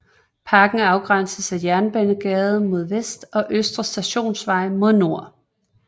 Parken afgrænses af Jernbanegade mod vest og Østre Stationsvej mod nord